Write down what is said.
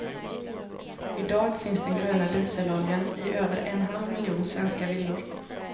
I dag finns den gröna dieseloljan i över en halv miljon svenska villor.